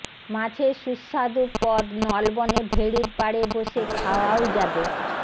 মাছের সুস্বাদু পদ নলবনে ভেড়ির পাড়ে বসে খাওয়াও যাবে